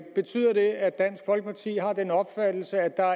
betyder det at dansk folkeparti har den opfattelse at der